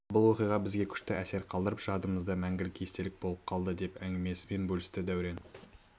бұл оқиға бізге күшті әсер қалдырып жадымызда мәңгілік естелік болып қалды деп әңгімесімен бөлісті дәурен